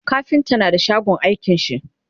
kafinta na da shagon aikin shi